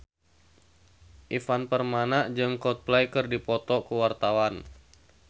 Ivan Permana jeung Coldplay keur dipoto ku wartawan